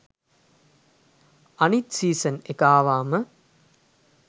අනිත් සීසන් එක ආවහම